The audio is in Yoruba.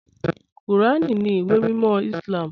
Kúràn ní ìwé mímọ̀ Islám.